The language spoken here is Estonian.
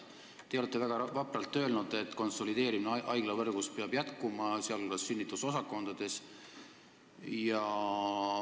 Te olete väga vapralt öelnud, et konsolideerimine haiglavõrgus peab jätkuma, sh sünnitusosakondades.